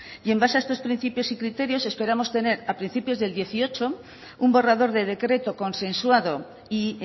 y en base a estos principios y criterios esperamos tener a principios del dieciocho un borrador de decreto consensuado y